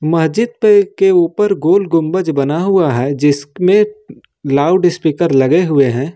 मस्जिद पे के ऊपर गोल गुंबज बना हुआ है जिसमें लाउडस्पीकर लगे हुए हैं।